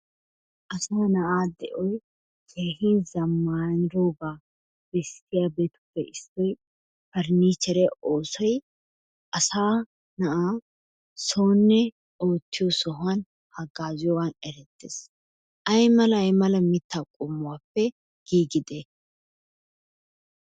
Asaa na'a de'oy keehin zammanidooga bessiyaabetuppe issoy paranicheriya oosoy asaa na'a soonne ootiyo sohuwan hagazziyoogan erettees. Aymalla aymalla mitta qommuwappe giigide?